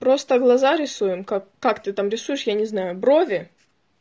просто глаза рисуем как как ты там рисуешь я не знаю брови